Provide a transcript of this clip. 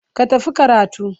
Ka tafi karatu.